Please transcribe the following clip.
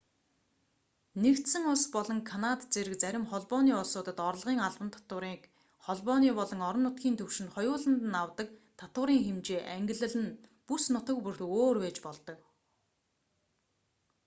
нэгдсэн улс болон канад зэрэг зарим холбооны улсуудад орлогын албан татварыг холбооны болон орон нутгийн түвшинд хоёуланд нь авдаг татварын хэмжээ ангилал нь бүс нутаг бүрт өөр байж болдог